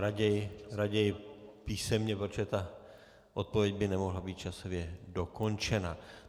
Raději písemně, protože ta odpověď by nemohla být časově dokončena.